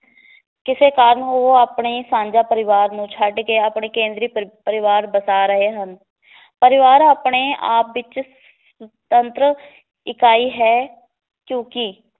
ਕਿਸੇ ਕਾਰਨ ਉਹ ਆਪਣੇ ਸਾਂਝਾਂ ਪਰਿਵਾਰ ਨੂੰ ਛੱਡ ਕੇ ਆਪਣੇ ਕੇਂਦਰੀ ਪਰਿ~ ਪਰਿਵਾਰ ਬਸਾ ਰਹੇ ਹਨ ਪਰਿਵਾਰ ਆਪਣੇ ਆਪ ਵਿਚ ਤੰਤਰ ਇਕਾਈ ਹੈ ਕਿਉਕਿ